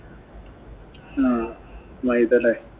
ആഹ് മൈദ അല്ലേ?